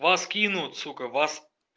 вас кинут сука вас